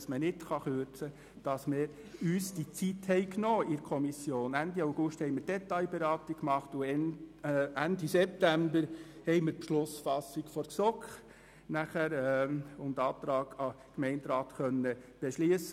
Ende August führten wir die Detailberatung durch und Ende September folgte die Beschlussfassung sowie die Antragstellung durch die GSoK.